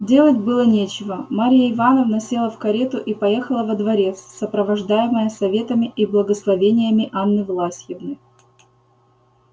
делать было нечего марья ивановна села в карету и поехала во дворец сопровождаемая советами и благословениями анны власьевны